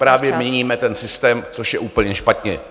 ... právě měníme ten systém, což je úplně špatně.